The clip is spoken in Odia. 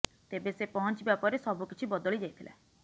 ତେବେ ସେ ପହଞ୍ଚିବା ପରେ ସବୁ କିଛି ବଦଳି ଯାଇଥିଲା